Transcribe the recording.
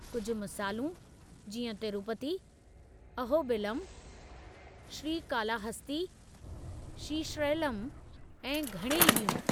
कुझु मिसालूं जीअं तिरूपती, अहोबिलम, श्रीकालाहस्ती, श्रीशैलम ऐं घणई ॿियूं।